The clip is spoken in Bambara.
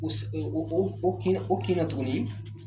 o o kɛyan o kɛyan tuguni